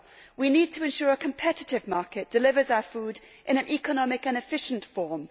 We need to ensure that a competitive market delivers our food in an economic and efficient form.